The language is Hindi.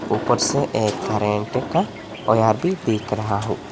ऊपर से एक करेंट का भी देख रहा हूं।